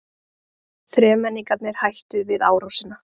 Þremenningarnir hættu við árásina.